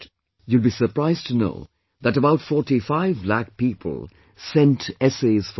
You will be surprised to know that about 45 lakh people sent essays for this